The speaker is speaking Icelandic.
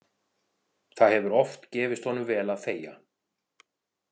Það hefur oft gefist honum vel að þegja.